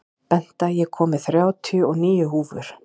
Benta, ég kom með þrjátíu og níu húfur!